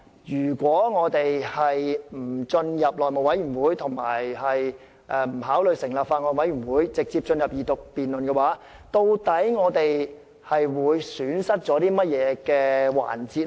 如果我們不將《條例草案》交付內務委員會及不考慮成立法案委員會，直接進入二讀辯論，究竟我們會損失甚麼環節？